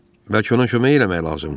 Bəlkə ona kömək eləmək lazımdır?